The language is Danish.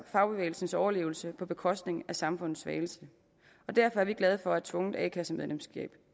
fagbevægelsens overlevelse på bekostning af samfundets svageste derfor er vi glade for at tvungent a kasse medlemskab